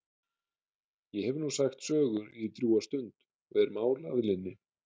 Ég hef nú sagt sögur í drjúga stund og er mál að linni.